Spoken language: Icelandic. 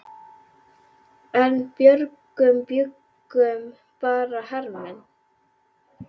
En í bröggunum bjuggu bara hermenn.